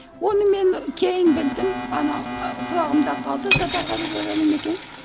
оны мен кейін білдім ана құлағымда қалды сапарғали бегалин екені